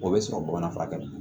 O bɛ sɔrɔ bamanan fura kɛ